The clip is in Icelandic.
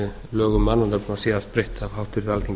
lögum um mannanöfn var síðast breytt af háttvirtu alþingi